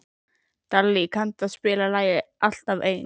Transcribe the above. Dalí, kanntu að spila lagið „Alltaf einn“?